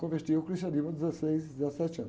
Converti ao cristianismo aos dezesseis, dezessete anos.